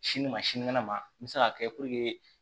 Sini ma sinikɛnɛ ma n bɛ se k'a kɛ